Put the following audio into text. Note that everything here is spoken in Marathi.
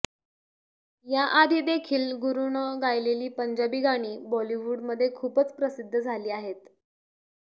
याआधीदेखील गुरुनं गायलेली पंजाबी गाणी बॉलीवूडमध्ये खूपच प्रसिद्ध झाली आहेत